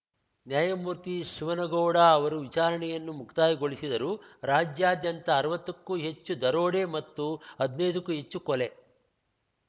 ನ್ಯಾಯಮೂರ್ತಿ ಶಿವನಗೌಡ ಅವರು ವಿಚಾರಣೆಯನ್ನು ಮುಕ್ತಾಯಗೊಳಿಸಿದರು ರಾಜ್ಯಾದ್ಯಂತ ಅರ್ವತ್ತಕ್ಕೂ ಹೆಚ್ಚು ದರೋಡೆ ಮತ್ತು ಹದ್ನೈದಕ್ಕೂ ಹೆಚ್ಚು ಕೊಲೆ